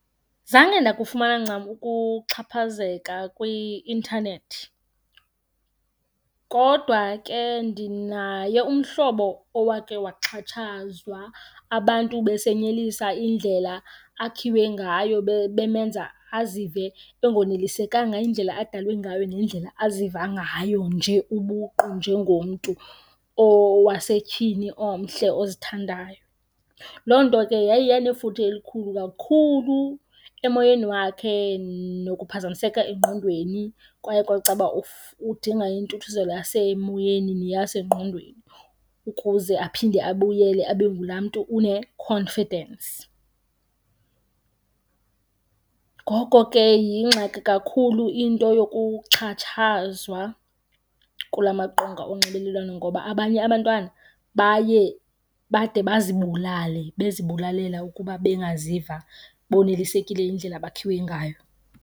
Zange ndakufumana ncam ukuxhaphazeka kwi-intanethi kodwa ke ndinaye umhlobo owake waxhatshazwa abantu besenyelisa indlela akhiwe ngayo bemenza azive engonelisekanga indlela adalwe ngayo nendlela aziva ngayo nje ubuqu njengomntu owasetyhini omhle ozithandayo. Loo nto ke yaye yanefuthe elikhulu kakhulu emoyeni wakhe nokuphazamiseka engqondweni. Kwaye kwacaba udinga intuthuzelo yasemoyeni neyasengqondweni ukuze aphinde abuyele abe ngulaa mntu une-confidence. Ngoko ke yingxaki kakhulu into yokuxhatshazwa kula maqonga onxibelelwano ngoba abanye abantwana baye bade bazibulale bezibulalela ukuba bangaziva bonelisekile yindlela abakhiwe ngayo.